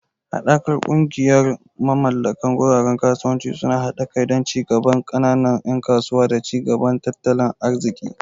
Hadakar kungiyar mamallakan guraren kasuwanci suna hada kai don ci gaban kananan yan kasuwa da ci gaba na tattalin arziki.